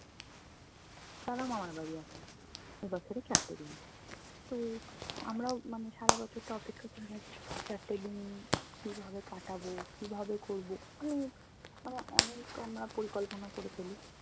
তারাও মামারবাড়ি আসে। এই বছরের চারটে দিন। তো আমরাও মানে সারা বছর তো অপেক্ষা করে চারটে দিন কীভাবে কাটাবো কীভাবে করবো মানে আমরা অনেক আমরা পরিকল্পনা করে ফেলি।